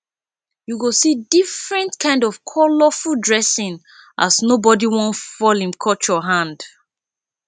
yu go see diffrent kind of colorful dressing as nobodi wan fall him culture hand